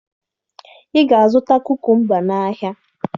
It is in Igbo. Ị ga-azụta kukumba n'ahịa!